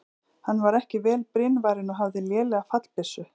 Hann var ekki vel brynvarinn og hafði lélega fallbyssu.